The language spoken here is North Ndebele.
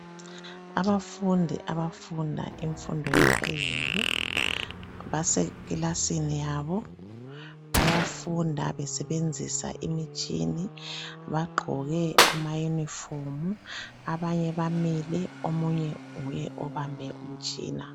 Abafundi abafunda imfundo yaphezulu, basekilasini yabo. Bayafunda besebenzisa imitshini, Bagqoke amayunifomu. abanye bamile, omunye nguye obambe umutshina.